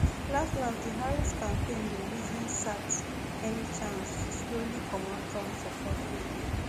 laslas di harris campaign dey reason sat any chance to slowly comot trump support wey e